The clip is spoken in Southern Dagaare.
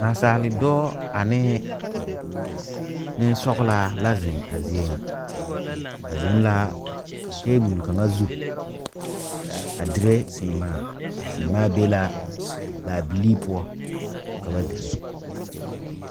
Naasaale dɔɔ anee neŋsɔglaa kaŋa la zeŋ a zie ŋa ba zeŋ laa tabol kaŋa zu a dire sèèmaa a sèèmaa be la laabilii poɔ ka ba dire.